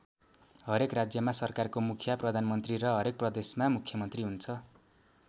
हरेक राज्यमा सरकारको मुखिया प्रधानमन्त्री र हरेक प्रदेशमा मुख्यमन्त्री हुन्छ ।